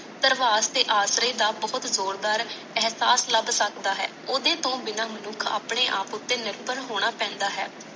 ਦਰਵਾਰ ਦੇ ਆਸਰੇ ਦਾ ਬਹੁਤ ਜ਼ੋਰ ਦਾਰ ਅਹਿਸਾਸ ਲਾਬ ਸਕਦਾ ਓਦੇ ਤੋਂ ਬਿਨਾ ਮਨੁੱਖ ਆਪਣੇ ਆਪ ਉਤੇ ਨਿਰਭਰ ਹੋਣਾ ਪੈਦਾ ਹੈ